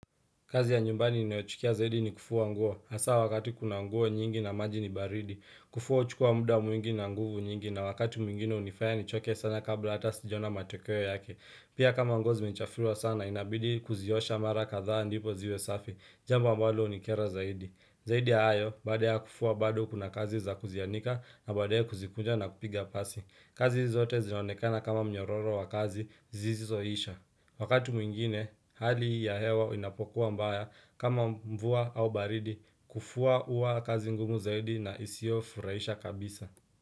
Kazi ya nyumbani ninayochukia zaidi ni kufua nguo. Hasa wakati kuna nguo nyingi na maji ni baridi. Kufua huchukua muda mwingi na nguvu nyingi na wakati mwingine hunifaya nichoke sana kabla hata sijaona matokeo yake. Pia kama nguo zimechafuliwa sana inabidi kuziosha mara kadhaa ndipo ziwe safi. Jambo ambalo hunikera zaidi. Zaidi ya hayo baada ya kufua bado kuna kazi za kuzianika na baadeye kuzikunja na kupiga pasi. Kazi zote zinaonekana kama mnyororo wa kazi sisizoisha. Wakati mwingine, hali ya hewa inapokuwa mbaya kama mvua au baridi kufua huwa kazi ngumu zaidi na isiofurahisha kabisa.